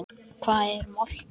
Hvað er molta?